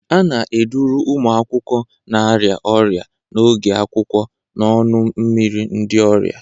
A na-eduru ụmụ akwụkwọ na-arịa ọrịa n'oge akwụkwọ n'ọnụ mmiri ndị ọrịa.